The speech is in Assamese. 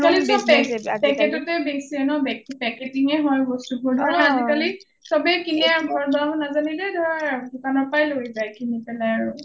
অ অ অ আজিকালি সব packet ততে বেছে ন packeting এ হয় ন বস্তু বোৰ ধৰা আজিকালি সৱে কিনে আৰু ঘৰত বনাব নাজানিলে ধৰ দোকানৰ পৰা লয় যায় পেলাই আৰু